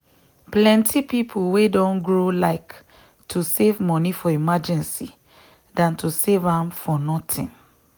plenty people wey don grow like to save money for emergency than to save am for nothing.